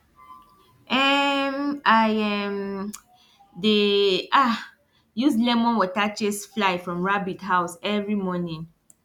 um i um dey um use lemon water chase fly from rabbit house every morning